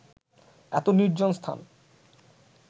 এত নির্জন স্থান